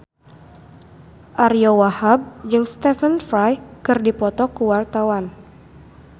Ariyo Wahab jeung Stephen Fry keur dipoto ku wartawan